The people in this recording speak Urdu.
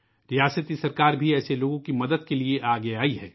ریاستی حکومت بھی ایسے لوگوں کی مدد کے لئے آگے آئی ہے